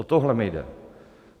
O tohle mi jde.